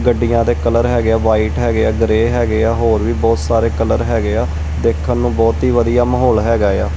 ਗੱਡੀਆਂ ਦੇ ਕਲਰ ਹੈਗੇ ਆ ਵਾਈਟ ਹੈਗੇ ਆ ਗ੍ਰੇਯ ਹੈਗੇ ਆ ਹੋਰ ਵੀ ਬਹੁਤ ਸਾਰੇ ਕਲਰ ਹੈਗੇ ਆ ਦੇਖਣ ਨੂੰ ਬਹੁਤ ਹੀ ਵਧੀਆ ਮਾਹੌਲ ਹੈਗਾ ਆ।